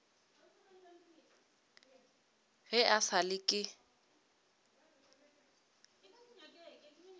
ge e sa le ke